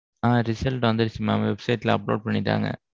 ஆ. result வந்திருச்சு mam. website ல upload பண்ணிட்டாங்க.